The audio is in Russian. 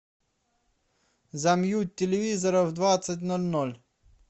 замьють телевизора в двадцать ноль ноль